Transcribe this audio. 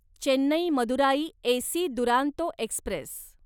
Chennai Madurai AC Duronto Express